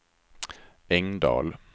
Engdahl